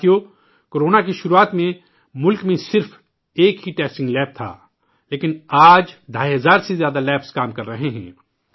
ساتھیو، corona کی شروعات میں ملک میں صرف ایک ہی ٹیسٹنگ لیب تھا ، لیکن آج ڈھائی ہزار سے زیادہ لیب کام کر رہے ہیں